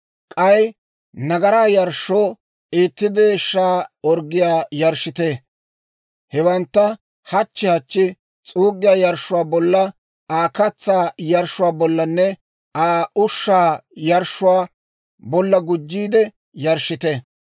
K'ay nagaraa yarshshoo itti deeshshaa orggiyaa yarshshite. Hewantta hachchi hachchi s'uuggiyaa yarshshuwaa bolla, Aa katsaa yarshshuwaa bollanne Aa ushshaa yarshshuwaa bolla gujjiide yarshshite.